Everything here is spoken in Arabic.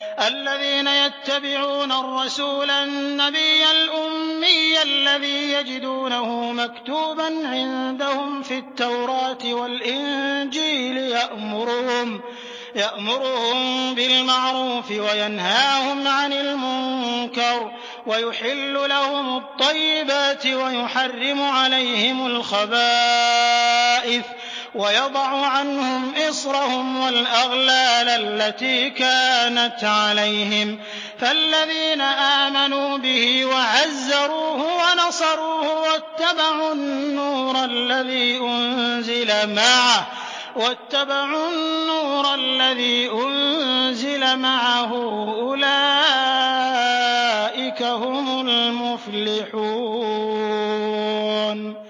الَّذِينَ يَتَّبِعُونَ الرَّسُولَ النَّبِيَّ الْأُمِّيَّ الَّذِي يَجِدُونَهُ مَكْتُوبًا عِندَهُمْ فِي التَّوْرَاةِ وَالْإِنجِيلِ يَأْمُرُهُم بِالْمَعْرُوفِ وَيَنْهَاهُمْ عَنِ الْمُنكَرِ وَيُحِلُّ لَهُمُ الطَّيِّبَاتِ وَيُحَرِّمُ عَلَيْهِمُ الْخَبَائِثَ وَيَضَعُ عَنْهُمْ إِصْرَهُمْ وَالْأَغْلَالَ الَّتِي كَانَتْ عَلَيْهِمْ ۚ فَالَّذِينَ آمَنُوا بِهِ وَعَزَّرُوهُ وَنَصَرُوهُ وَاتَّبَعُوا النُّورَ الَّذِي أُنزِلَ مَعَهُ ۙ أُولَٰئِكَ هُمُ الْمُفْلِحُونَ